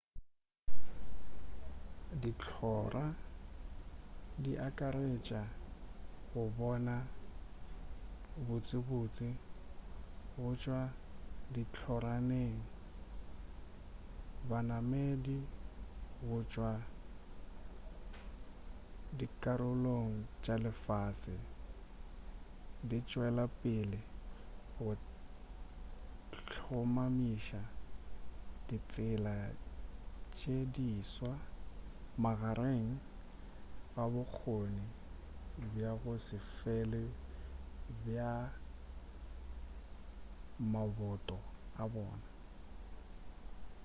dihlora di akaretša go bona botsebotse go tšwa ditlhoraneng banamedi go tšwa dikarolong tša lefase di tšwela pele go hlomamiša ditsela tše diswa magareng ga bokgoni bja go se fele bja maboto a bona